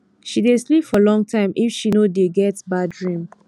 she dey sleep for long time if she no dey get bad dream